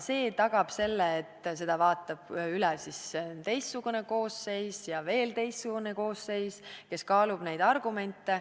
See tagab selle, et selle vaatab üle teistsugune koosseis ja veel teistsugune koosseis, kes kaalub neid argumente.